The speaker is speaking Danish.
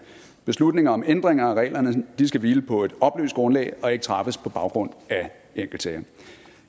beslutninger om ændringer af reglerne skal hvile på et oplyst grundlag og ikke træffes på baggrund af enkeltsager